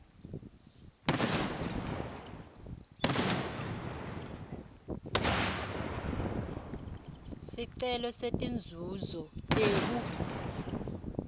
sicelo setinzuzo tekugula